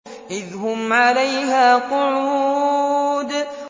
إِذْ هُمْ عَلَيْهَا قُعُودٌ